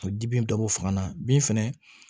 A bɛ di bin dɔ bɔ fanga na bin fɛnɛ